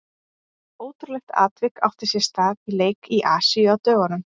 Ótrúlegt atvik átti sér stað í leik í Asíu á dögunum.